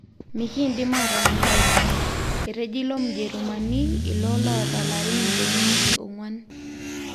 Mikindim atonyorai ina,''Etejo ilo Mjerumani ilo lota larin intomoni ile onguan.